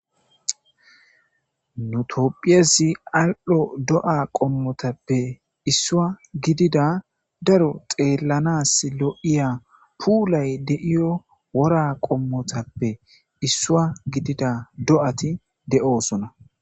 Nu tophphiyassi al"o do"a qomotappe isuwa gidida daro xelanassi lo"iza pulay de'yo wora qomotappe issuwa gidida do"ati de"ossona